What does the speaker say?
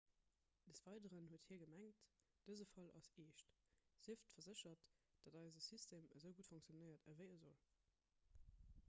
des weideren huet hie gemengt dëse fall ass eescht sieft verséchert datt eise system esou gutt funktionéiert ewéi e sollt